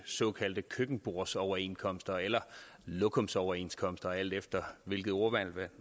såkaldte køkkenbordsoverenskomster eller lokumsoverenskomster alt efter hvilket ordvalg